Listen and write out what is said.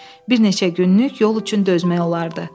Bir neçə günlük yol üçün dözmək olardı.